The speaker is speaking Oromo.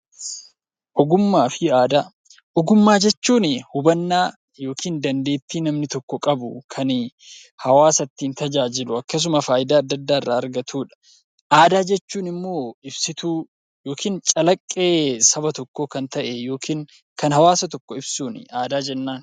Ogummaa fi aadaa Ogummaa jechuun hubannaa yookiin dandeettii namni tokko qabu kan hawaasa ittiin tajaajilu akkasuma fayidaa addaa addaa irraa argatudha. Aadaa jechuun immoo ibsituu saba tokkoo yookiin immoo calaqqee saba tokkoo kan ta'e yookiin kan hawaasa tokko ibsuun aadaa jennaan.